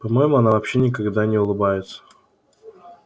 по моему она вообще никогда не улыбается